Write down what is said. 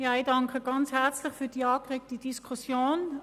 Ich danke sehr herzlich für die angeregte Diskussion.